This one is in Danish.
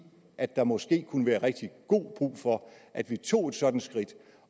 at der måske kunne være rigtig god brug for at vi tog et sådant skridt